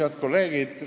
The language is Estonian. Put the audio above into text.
Head kolleegid!